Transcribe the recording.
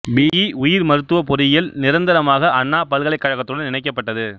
B E உயிர் மருத்துவ பொறியியல் நிரந்தரமாக அண்ணா பல்கலைக்கழகத்துடன் இணைக்கப்பட்டது